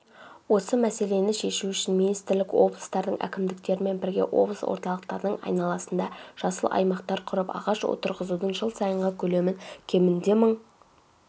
осы мәселені шешу үшін министрлік облыстардың әкімдіктерімен бірге облыс орталықтарының айналасында жасыл аймақтар құрып ағаш отырғызудың жыл сайынғы көлемін кемінде мың